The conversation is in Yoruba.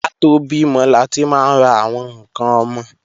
Ká tó bímọ láti máa ń ra àwọn ǹkan ọmọ